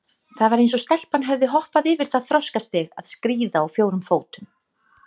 Það var eins og stelpan hefði hoppað yfir það þroskastig að skríða á fjórum fótum.